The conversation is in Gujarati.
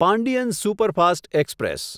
Pandian superfast express